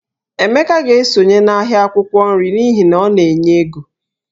Emeka ga-esonye n'ahịa akwụkwọ nri n'ihi na ọ na-enye ego